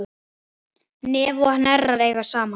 Nef og hnerrar eiga saman.